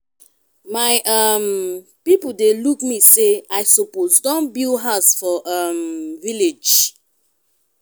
my um pipo dey look me sey i suppose don build house for um village.